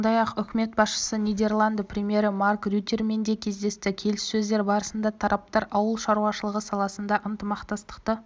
сондай-ақ үкімет басшысы нидерланды премьері марк рюттемен де кездесті келіссөздер барысында тараптар ауыл шаруашылығы саласында ынтымақтастықты